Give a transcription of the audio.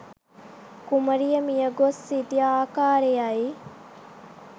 කුමරිය මිය ගොස් සිටි ආකාරයයි